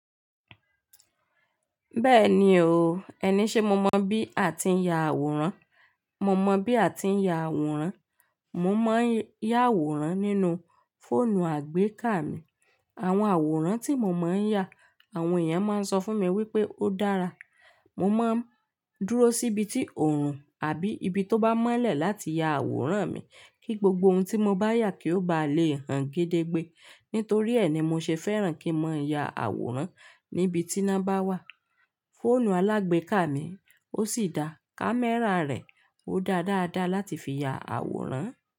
Bẹ́ẹ̀ni o, ẹni ṣe mo mọ bí a ti ń ya àwòrán. Mo mọ bí a ti ń ya àwòrán. Mo máa ń ya àwòrán nínú fóònù àgbéká mi. Àwọn àwòrán tí mo máa ń ya, àwọn èèyàn máa ń sọ fún mi wípé ó dára. Mo máa ń dúró síbi tí oòrùn àbí ibi tó bá mọ́lẹ̀ láti ya àwòrán mi kí gbogbo ohun tí mo bá yà kí ó bá le hàn gédégbé. Nítorí ẹ ni mo ṣe fẹ́ràn kí n máa yà àwòrán níbi tí iná bá wà. Fóònù alágbéká mi ó sì da, kámẹ́rà rẹ̀ ó dáa dáa dáa láti fi ya àwòrán.